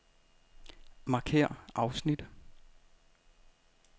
Markér afsnit.